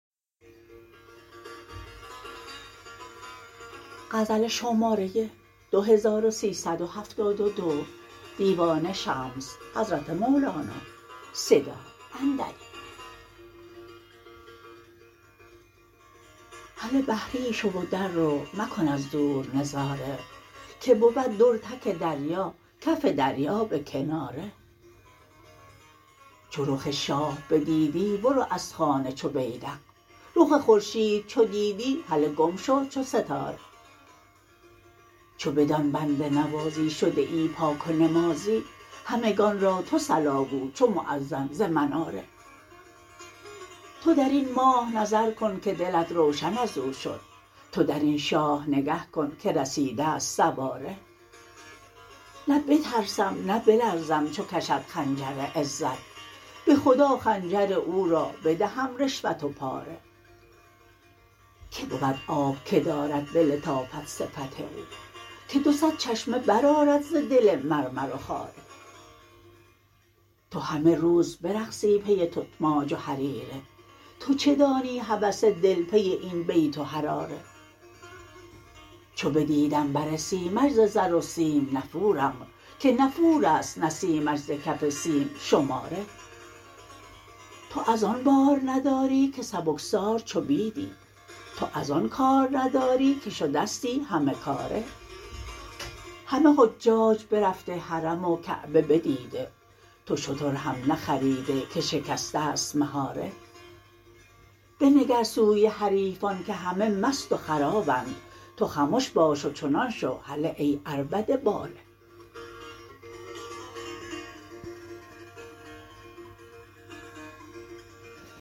هله بحری شو و در رو مکن از دور نظاره که بود در تک دریا کف دریا به کناره چو رخ شاه بدیدی برو از خانه چو بیذق رخ خورشید چو دیدی هله گم شو چو ستاره چو بدان بنده نوازی شده ای پاک و نمازی همگان را تو صلا گو چو مؤذن ز مناره تو در این ماه نظر کن که دلت روشن از او شد تو در این شاه نگه کن که رسیده ست سواره نه بترسم نه بلرزم چو کشد خنجر عزت به خدا خنجر او را بدهم رشوت و پاره کی بود آب که دارد به لطافت صفت او که دو صد چشمه برآرد ز دل مرمر و خاره تو همه روز برقصی پی تتماج و حریره تو چه دانی هوس دل پی این بیت و حراره چو بدیدم بر سیمش ز زر و سیم نفورم که نفور است نسیمش ز کف سیم شماره تو از آن بار نداری که سبکسار چو بیدی تو از آن کار نداری که شدستی همه کاره همه حجاج برفته حرم و کعبه بدیده تو شتر هم نخریده که شکسته ست مهاره بنگر سوی حریفان که همه مست و خرابند تو خمش باش و چنان شو هله ای عربده باره